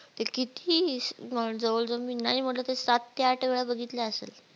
ते किती जवळ जवळ मी नाही मनल सात ते आठ वेळा बघितलं असा